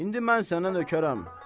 İndi mən sənə nökərəm.